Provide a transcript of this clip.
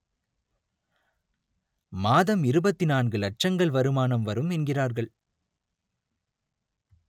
மாதம் இருபத்தி நான்கு லட்சங்கள் வருமானம் வரும் என்கிறார்கள்